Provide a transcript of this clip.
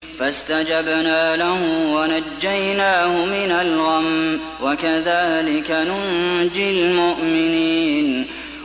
فَاسْتَجَبْنَا لَهُ وَنَجَّيْنَاهُ مِنَ الْغَمِّ ۚ وَكَذَٰلِكَ نُنجِي الْمُؤْمِنِينَ